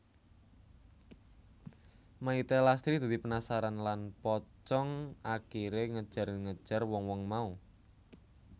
Mayité Lastri dadi penasaran lan pocong akiré ngejar ngejar wong wong mau